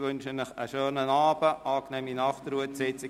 Ich wünsche Ihnen einen schönen Abend und eine angenehme Nachtruhe.